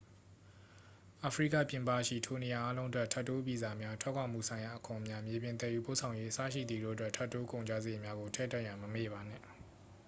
အာဖရိကပြင်ပရှိ ထိုနေရာအားလုံးအတွက် ထပ်တိုးဗီဇာများ ထွက်ခွာမှုဆိုင်ရာအခွန်များ မြေပြင် သယ်ယူပို့ဆောင်ရေး အစရှိသည်တို့အတွက် ထပ်တိုး ကုန်ကျစရိတ်များကို ထည့်တွက်ရန် မမေ့ပါနှင့်